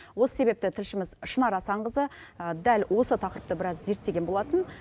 осы себепті тілшіміз шынар асанқызы дәл осы тақырыпты біраз зерттеген болатын